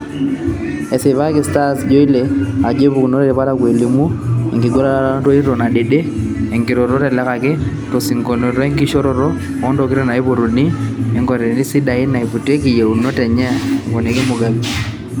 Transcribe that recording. "Esipaki Starsjoaillere ajo eiputakinote ilparakuo eimu enkingurata nkoitoi nadede enkiroroto, teleleki o tesiokinoto enkishoroto o ntokitin naipotuni entokitin sidain naiputaki iyieunot enye," eponiki Mugambi.